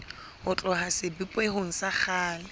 ho tloha sebopehong sa kgale